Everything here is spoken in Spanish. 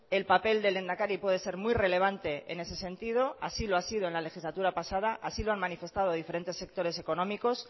el papel del lehendakari puede ser muy relevante en ese sentido así lo ha sido en la legislatura pasada así lo han manifestado diferentes sectores económicos